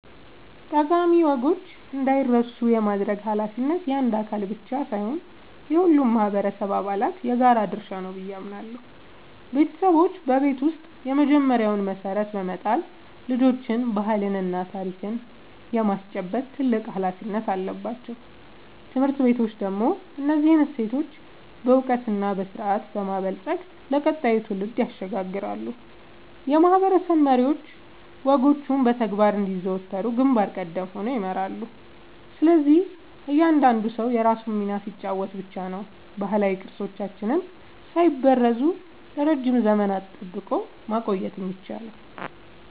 ጠቃሚ ወጎች እንዳይረሱ የማድረግ ኃላፊነት የአንድ አካል ብቻ ሳይሆን የሁሉም ማህበረሰብ አባላት የጋራ ድርሻ ነው ብዬ አምናለሁ። ቤተሰቦች በቤት ውስጥ የመጀመሪያውን መሰረት በመጣል ልጆችን ባህልና ታሪክ የማስጨበጥ ትልቅ ኃላፊነት አለባቸው። ትምህርት ቤቶች ደግሞ እነዚህን እሴቶች በዕውቀትና በስርዓት በማበልጸግ ለቀጣዩ ትውልድ ያሸጋግራሉ፤ የማህበረሰብ መሪዎችም ወጎቹ በተግባር እንዲዘወተሩ ግንባር ቀደም ሆነው ይመራሉ። ስለዚህ እያንዳንዱ ሰው የራሱን ሚና ሲጫወት ብቻ ነው ባህላዊ ቅርሶቻችንን ሳይበረዙ ለረጅም ዘመናት ጠብቆ ማቆየት የሚቻለው።